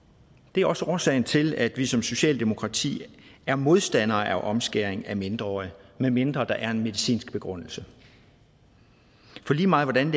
det er også årsagen til at vi som socialdemokrati er modstandere af omskæring af mindreårige medmindre der er en medicinsk begrundelse for lige meget hvordan